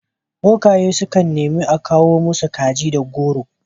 Bokaye sukan neni a kawo masu kaji da goro.